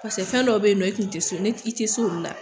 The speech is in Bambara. Pase fɛn dɔw be yen ɲɔ i kun te se i te se olu la